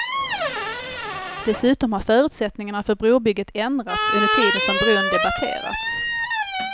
Dessutom har förutsättningarna för brobygget ändrats under tiden som bron debatterats.